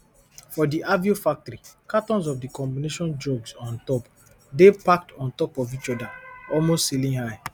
for di aveo factory cartons of di combination drugs on top dey packed ontop of each other almost ceilinghigh